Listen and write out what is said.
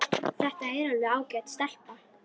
Þetta er alveg ágæt stelpa.